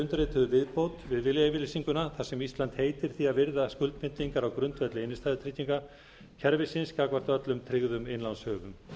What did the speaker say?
undirrituðu viðbót við viljayfirlýsinguna þar sem ísland heitir því að virða skuldbindingar á grundvelli innstæðutryggingakerfisins gagnvart öllum tryggðum innlánshöfum